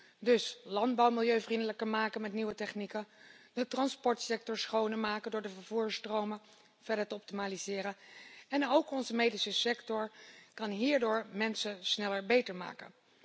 Dit betekent dus landbouw milieuvriendelijker maken met nieuwe technieken, de transportsector schoner maken door de vervoersstromen verder te optimaliseren, en ook onze medische sector kan hierdoor mensen sneller beter maken.